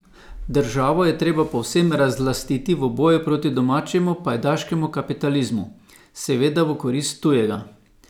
Državo je treba povsem razlastiti v boju proti domačemu pajdaškemu kapitalizmu, seveda v korist tujega.